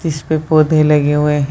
जिसपे पौधे लगे हुए --